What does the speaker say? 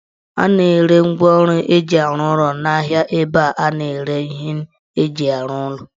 A na-ere ngwaọrụ eji arụ ụlọ n'ahia ebe a na-ere ihe eji arụ ụlọ